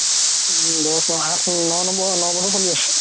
দহ নহয় আঠ ন নম্বৰ চলি আছে